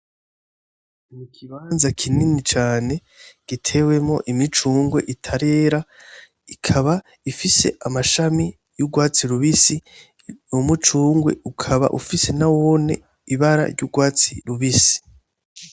Ikibanza kinini cane gitewemwo imicungwe itarera, ikaba ifise amashami y'urwatsi rubisi, umucugwe ukaba ufise nawone ibara ry'urwatsi rubisi.